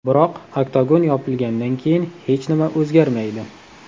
Biroq oktagon yopilgandan keyin hech nima o‘zgarmaydi.